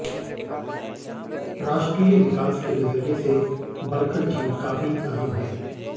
राष्ट्रीय विकास के नजरिए से बडख़ल झील काफी अहम है